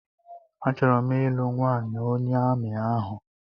A chọrọ m ịlụ nwanyị onye amị ahụ